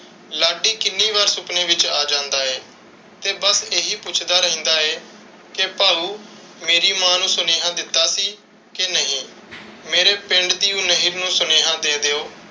ਲਾਡੀ ਕਿੰਨੀ ਵਾਰ ਸੁਪਨੇ ਵਿੱਚ ਆ ਜਾਂਦਾ ਹੈ. ਤੇ ਬਸ ਇਹੀ ਪੁੱਛਦਾ ਰਹਿੰਦਾ ਹੈ ਕਿ ਭਾਉ ਮੇਰੀ ਮਾਂ ਨੂੰ ਸੁਨੇਹਾ ਦਿੱਤਾ ਸੀ ਕਿ ਨਹੀਂ? ਮੇਰੇ ਪਿੰਡ ਦੀ ਨਹਿਰੀ ਨੂੰ ਸੁਨੇਹਾ ਦੇ ਦਿਓ,